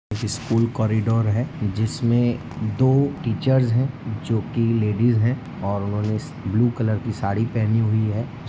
एक school corridor है जिसमे दो टीचर्स हैं जो कि लेडिज हैं ओर उन्होंने ब्लू कलर कि सारी--